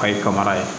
Kayi panbara ye